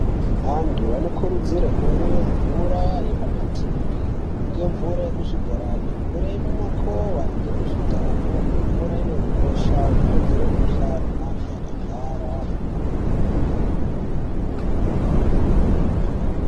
Antu anokurudzirwe kumwa mvura yepamatepi ngemvura yemuzvibhorani mvura yemumakowa ngemuzvidhamu imvura ine ukosha unokotsera mukhuhlani antu akarwara.